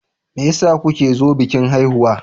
Me yasa kuke zo bikin haihuwa?